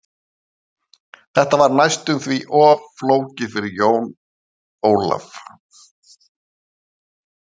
Þetta var næstum því of flókið fyrir Jón Ólaf.